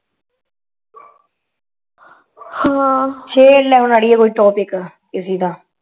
ਹਾਂ ਹੈ ਕਿਸੇ ਦਾ ਟੋਪੀਕ